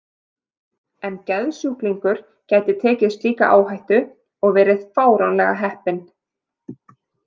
En geðsjúklingur gæti tekið slíka áhættu og verið fáránlega heppinn.